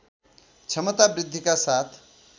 क्षमता वृद्धिका साथ